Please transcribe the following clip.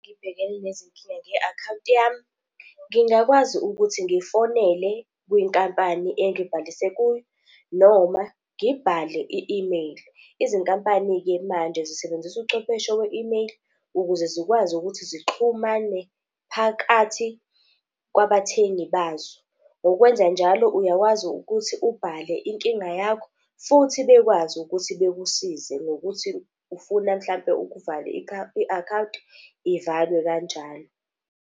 Ngibhekena nezinkinga, i-akhawunti yami. Ngingakwazi ukuthi ngifonele kwinkampani engibhalise kuyo, noma ngibhale i-email. Izinkampani-ke manje zisebenzisa uchwepheshe we-email ukuze zikwazi ukuthi zixhumane phakathi kwabathengi bazo. Ngokwenzanjalo uyakwazi ukuthi ubhale inkinga yakho, futhi bekwazi ukuthi bekusize ngokuthi ufuna mhlampe ukuvala i-akhawunti, ivalwe kanjalo.